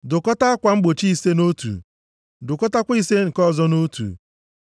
Dụkọtaa akwa mgbochi ise nʼotu, dụkọtaakwa ise nke ọzọ nʼotu.